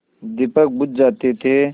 दीपक बुझ जाते थे